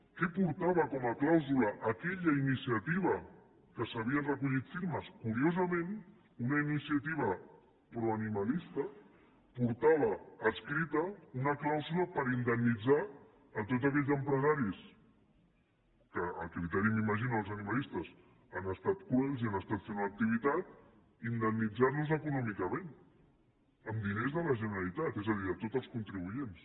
què portava com a clàusula aquella iniciativa que s’havien recollit firmes curiosament una iniciativa proanimalista portava adscrita una clàusula per indemnitzar tots aquells empresaris que a criteri m’imagino dels animalistes han estat cruels i han estat fent una activitat indemnitzar los econòmicament amb diners de la generalitat és a dir de tots els contribuents